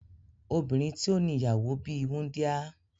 Obinrin ti o ni iyawo bi wundia